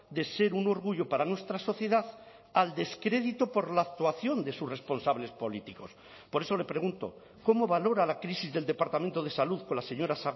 de ser un orgullo para nuestra sociedad al descrédito por la actuación de sus responsables políticos por eso le pregunto cómo valora la crisis del departamento de salud con la señora